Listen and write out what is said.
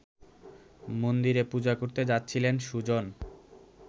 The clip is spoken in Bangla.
মন্দিরে পূজা করতে যাচ্ছিলেন সুজন